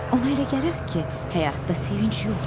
Ona elə gəlirdi ki, həyatda sevinc yoxdur.